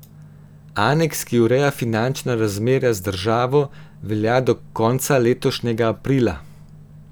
Aneks, ki ureja finančna razmerja z državo, velja do konca letošnjega aprila.